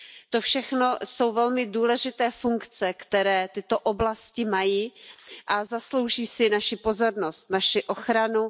To všechno jsou velmi důležité funkce, které tyto oblasti mají a zaslouží si naši pozornost, naši ochranu.